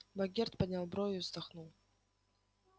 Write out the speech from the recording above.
богерт поднял брови и вздохнул